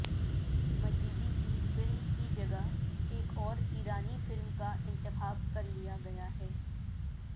مجیدی کی فلم کی جگہ ایک اور ایرانی فلم کا انتخاب کرلیا گیا ہے